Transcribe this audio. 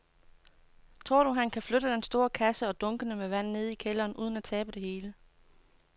Tror du, at han kan flytte den store kasse og dunkene med vand ned i kælderen uden at tabe det hele?